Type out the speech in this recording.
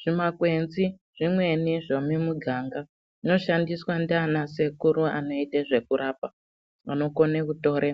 Zvimakwenzi zvimweni zvemumuganga zvinoshandiswa ndiana sekuru anoite zvekurapa. Anokone kutore